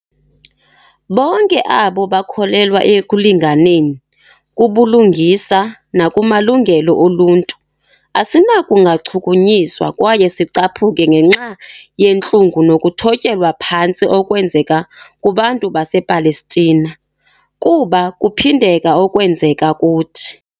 Bonke abo bakholelwa ekulinganeni, kubulungisa nakumalungelo oluntu, asinakungachukunyiswa kwaye sicaphuke ngenxa yentlungu nokuthotyelwa phantsi ekwenzeka kubantu basePalestina, kuba kuphindeka okwenzeka kuthi.